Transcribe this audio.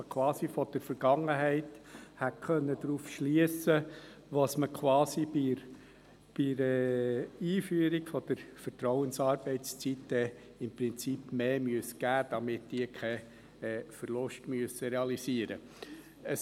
So hätte man quasi von der Vergangenheit darauf schliessen können, was man bei der Einführung der Vertrauensarbeitszeit mehr geben müsste, damit sie keinen Verlust realisieren müssen.